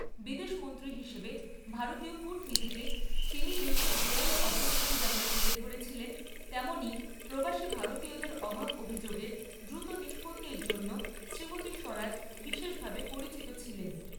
বিদেশমন্ত্রী হিসেবে ভারতীয় কূটনীতিতে তিনি দেশের জোরালো অবস্থান যেমন তুলে ধরেছিলেন তেমনই প্রবাসী ভারতীয়দের অভাব অভিযোগের দ্রুত নিষ্পত্তির জন্য শ্রীমতি স্বরাজ বিশেষভাবে পরিচিত ছিলেন।